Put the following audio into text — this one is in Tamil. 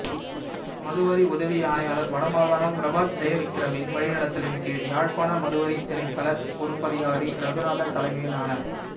மதுவரி உதவி ஆணையாளர் வடமாகாணம் பிரபாத் ஜெயவிக்கிரவின் வழிநடத்தலின் கீழ் யாழ்ப்பாண மதுவரித் திணைக்கள பொறுப்பதிகாரி ரகுநாதன் தலைமையிலான